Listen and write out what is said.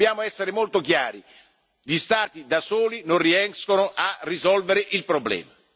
Dobbiamo essere molto chiari gli Stati da soli non riescono a risolvere il problema.